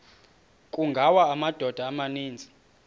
kungawa amadoda amaninzi